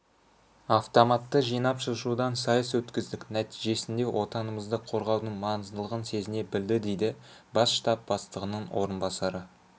автоматты жинап-шашудан сайыс өткіздік нәтижесінде отанымызды қорғаудың маңыздылығын сезіне білді дейді бас штаб бастығының орынбасары